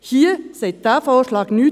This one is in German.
Hierzu sagt dieser Vorschlag nichts.